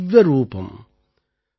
வந்தித திவ்ய ரூபம்